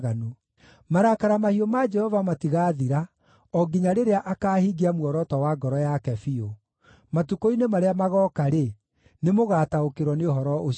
Marakara mahiũ ma Jehova matigaathira, o nginya rĩrĩa akaahingia muoroto wa ngoro yake biũ. Matukũ-inĩ marĩa magooka-rĩ, nĩmũgataũkĩrwo nĩ ũhoro ũcio wega.